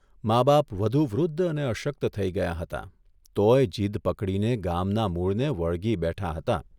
મા બાપ વધુ વૃદ્ધ અને અશક્ત થઇ ગયાં હતાં તોયે જીદ પકડીને ગામના મૂળને વળગી બેઠાં હતાં.